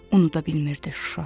Unuda bilmirdi Şuşa.